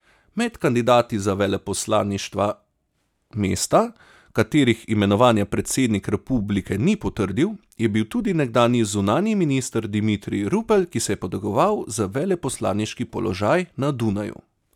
Med kandidati za veleposlaništva mesta, katerih imenovanja predsednik republike ni potrdil, je bil tudi nekdanji zunanji minister Dimitrij Rupel, ki se je potegoval za veleposlaniški položaj na Dunaju.